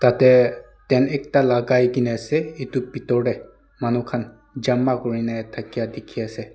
yeteh tent ekta lagaigena ase itu bitor deh manu khan jama kurine thakia dikhi ase.